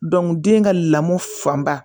den ka lamɔ fanba